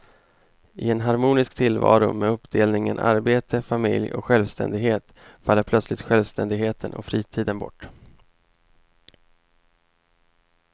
I en harmonisk tillvaro med uppdelningen arbete, familj och självständighet faller plötsligt självständigheten och fritiden bort.